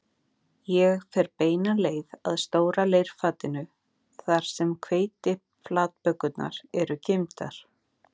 Ég fer beina leið að stóra leirfatinu þar sem hveitiflatbökurnar eru geymdar